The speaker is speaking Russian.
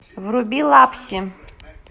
вруби лапси